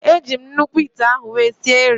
Eji m nnukwu ite ahụ wee sie nrị